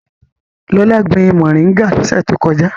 Lọlá gbin mòríngà lọ́sẹ̀ tó kọjá.